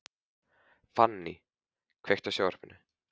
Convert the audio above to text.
Fanny, kveiktu á sjónvarpinu.